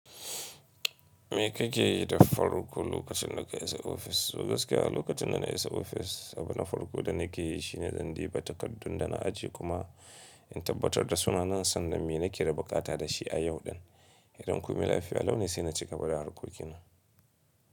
Me kake yi da farko lokacin da ka isa ofis? Gaskiya lokacin da na isa ofis, abu na farko da nake yi shine zan duba takardun da na ajiye kuma in tabbatar da sunana sannan me nake da buƙata da shi a yau din. Idan komai lafiya, lau ne sai na cigaba da harkokin nan.